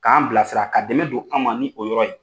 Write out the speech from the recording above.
K'an bila sira ka dɛmɛ don an ma ni o yɔrɔ ye.